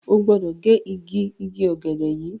O gbódò ge ìgi Ìgi ògèdè yí!